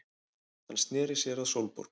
Hann sneri sér að Sólborgu.